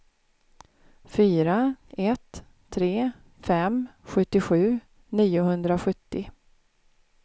fyra ett tre fem sjuttiosju niohundrasjuttio